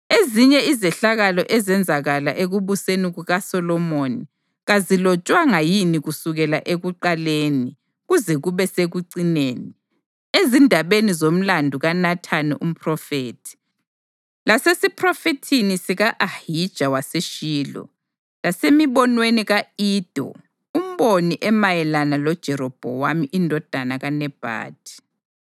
Ezinye izehlakalo ezenzakala ekubuseni kukaSolomoni kazilotshwanga yini kusukela ekuqaleni kuze kube sekucineni, ezindabeni zomlandu kaNathani umphrofethi, lasesiphrofethini sika-Ahija waseShilo, lasemibonweni ka-Ido umboni emayelana loJerobhowamu indodana kaNebhathi?